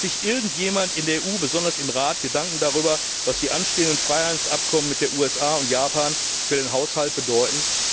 Macht sich irgendjemand in der EU, besonders im Rat, Gedanken darüber, was die anstehenden Freihandelsabkommen mit den USA und Japan für den Haushalt bedeuten?